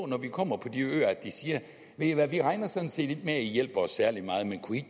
når vi kommer på de øer siger ved i hvad vi regner sådan set ikke med at i hjælper os særlig meget men kunne i